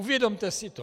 Uvědomte si to.